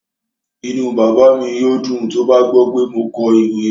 Inú bàbá mi yóò dùn tó bá gbọ́ pé mo kọ ìwé